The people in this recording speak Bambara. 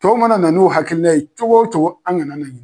Tɔw mana na n'u hakilina ye cogo o cogo an kana na